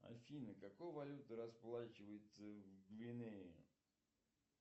афина какой валютой расплачиваются в гвинее